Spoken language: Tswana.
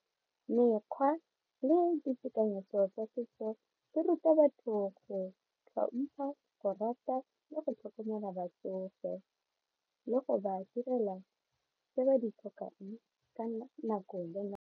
Mekgwa le ditekanyetso tsa setso di ruta batho go tlhompha, go rata le go tlhokomela batsofe le go ba direla tse ba di tlhokang ka nako le.